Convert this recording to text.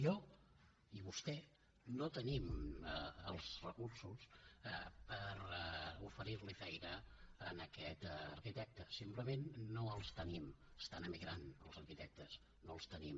jo i vostè no tenim els recursos per oferir li feina a aquest arquitecte simplement no els tenim estan emigrant els arquitectes no els tenim